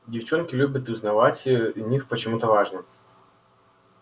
девчонки любят узнавать е для них почему-то важно